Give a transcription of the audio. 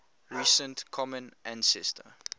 recent common ancestor